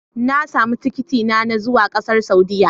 Na sami tikitina na zuwa ƙasar Saudiyya.